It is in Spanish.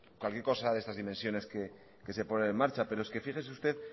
cualquier cosa de estas dimensiones que se ponen en marcha pero es que fíjese usted